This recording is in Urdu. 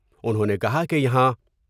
انہوں نے کہا کہ یہاں